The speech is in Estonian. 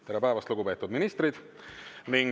Tere päevast, lugupeetud ministrid!